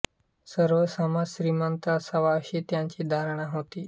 सर्व समाज श्रीमंत असावा अशी त्यांची धारणा होती